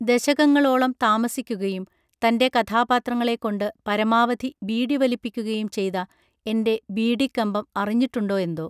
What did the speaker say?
ദശകങ്ങളോളം താമസിക്കുകയും തൻറെ കഥാപാത്രങ്ങളെക്കൊണ്ട് പരമാവധി ബീഡി വലിപ്പിക്കുകയും ചെയ്ത എന്റെ ബീഡി കമ്പം അറിഞ്ഞിട്ടുണ്ടോ എന്തോ